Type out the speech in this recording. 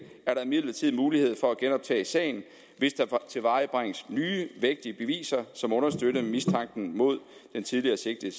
er der imidlertid mulighed for at genoptage sagen hvis der tilvejebringes nye vægtige beviser som understøtter mistanken mod den tidligere sigtede